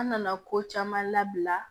An nana ko caman labila